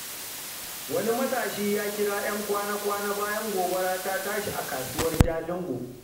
Wani matashi ya kira ‘yan kwana-kwana bayan gobara ta tashi a kasuwar Jalingo.